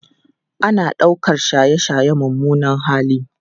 Ana ɗaukar shaye-shaye mummunan hali